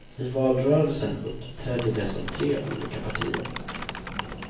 I valrörelsen uppträdde de som tre olika partier.